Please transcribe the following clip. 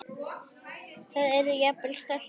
Og yrði jafnvel stoltur af.